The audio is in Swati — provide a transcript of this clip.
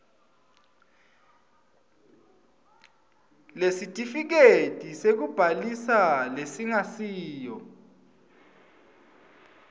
lesitifiketi sekubhalisa lesingasiyo